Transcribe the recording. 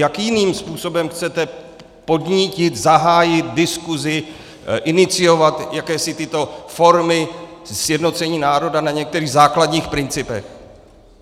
Jakým jiným způsobem chcete podnítit, zahájit diskusi, iniciovat jakési tyto formy sjednocení národa na některých základních principech?